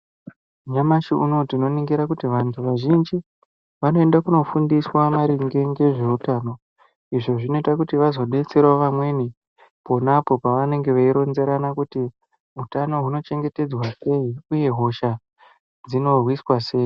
Nyamashi unoo tinoningira kuti vantu vazhinji vanoende kunofunfiswa maringe ngezveutano. Izvo zvinoita kuti vazodetserawo vamwenipona apo pavanenge veironzerana kuti utano hunochengetedzwa sei uye hosha dzinorwiswa sei.